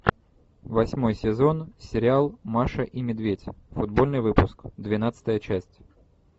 восьмой сезон сериал маша и медведь футбольный выпуск двенадцатая часть